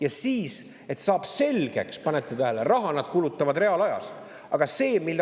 Ja siis, et saaks selgeks – panete tähele, raha nad kulutavad reaalajas!